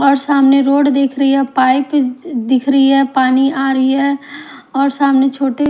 और सामने रोड दिख रही है पाइप दिख रही है पानी आ रही है और सामने छोटे--